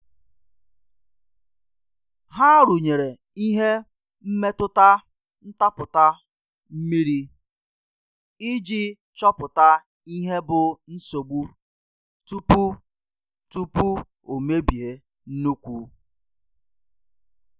Ha rụnyere ihe mmetụta ntapụta mmiri iji chopụta ihe bụ nsogbu tupu tupu o mebie nnukwu.